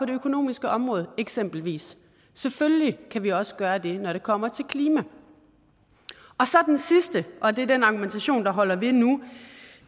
det økonomiske område eksempelvis selvfølgelig kan vi også gøre det når det kommer til klima og så den sidste og det er den argumentation der holder ved nu